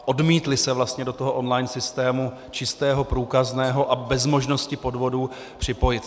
Odmítly se vlastně do toho online systému - čistého, průkazného a bez možnosti podvodů - připojit.